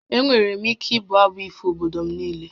Enwere m ike ịbụ abụ ifo obodo m niile